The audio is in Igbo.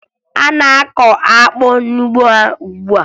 Ha na-akụ akpụ n'ugbo ha ugbua